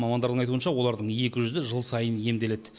мамандардың айтуынша олардың екі жүзі жыл сайын емделеді